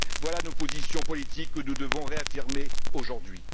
Voilà nos positions politiques que nous devons réaffirmer aujourd'hui.